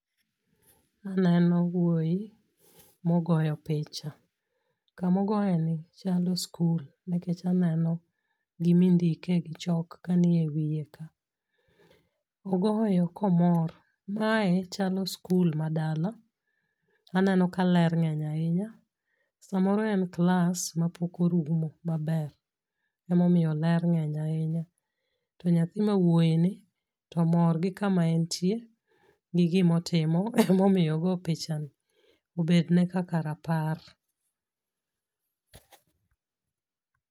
Aneno wuoyi mogoyo picha. Kamogoyeni chalo skul nikech aneno gimindike gi chok kanie wiye ka. Ogoyo komor, mae chalo skul ma dala, aneno ka lwe ng'eny ahinya samoro en klas mapok orumo maber, emomiyo ler ng'eny ahinya to nyathi mawuoyini to mor gi kama entie gi gimotimo emomiyo ogo pichani obedne kaka rapar.